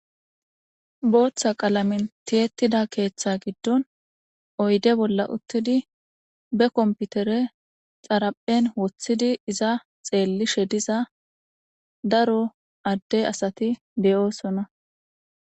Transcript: Booththa qalamin tiyettida keeththa giddon oyde bolla uttidi be komputere xaraphen woththidi iza xeellishe diza daro adde asati beyoosona.